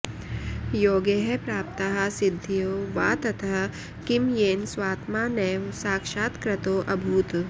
योगैः प्राप्ताः सिद्धयो वा ततः किं येन स्वात्मा नैव साक्षात्कृतोऽभूत्